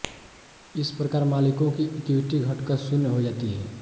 इस प्रकार मालिकों की इक्विटी घटकर शून्य हो जाती है